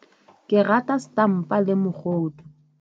Ke rata setampa le mogodu.